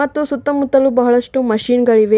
ತ್ತು ಸುತ್ತ ಮುತ್ತಲು ಬಹಳಷ್ಟು ಮಷೀನ್ ಗಳಿವೆ.